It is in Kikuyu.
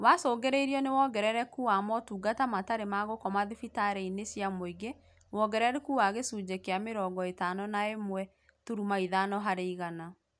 Wacũngĩrĩirio ni wongerereku wa motungata matarĩ ma gũkoma thibitarĩ inĩ cia mũingĩ wongerereku wa gĩcunjĩ kĩa mĩrongo ĩtano na ĩmwe turuma ithano harĩ igana